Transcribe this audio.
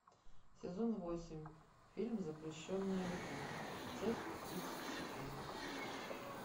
сезон восемь фильм запрещенная любовь часть тридцать четыре